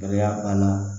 Gɛlɛya banna